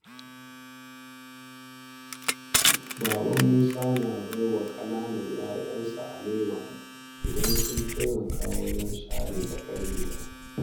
Baba Musa na ba wa ƙananan ‘ya’yansa alewa idan sun taimaka wajen share tsakar gida.